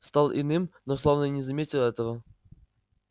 стал иным но словно и не заметил этого